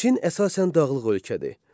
Çin əsasən dağlıq ölkədir.